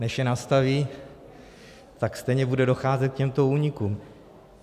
Než je nastaví, tak stejně bude docházet k těmto únikům.